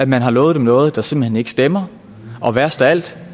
man har lovet dem noget der simpelt hen ikke stemmer og værst af alt